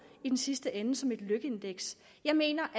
i den sidste ende som et lykkeindeks jeg mener